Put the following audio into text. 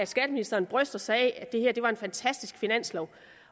skatteministeren bryster sig af at det her var en fantastisk finanslov